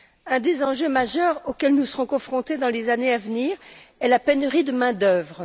Un des enjeux majeurs auxquels nous serons confrontés dans les années à venir est la pénurie de main d'œuvre.